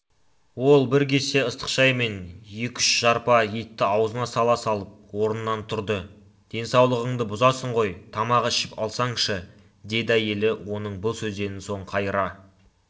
ол бір кесе ыстық шай мен екі-үш жарпа етті аузына сала салып орнынан тұрды денсаулығыңды бұзасың ғой тамақ ішіп алсаңшы деді әйелі оның бұл сөзден соң қайыра